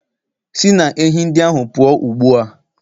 Si na ehi ndị ahụ pụọ ugbu a